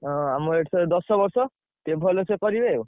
ଆମ ଏଠେଇ ଦଶବର୍ଷ ଟିକେ ଭଲସେ କରିବେ ଆଉ।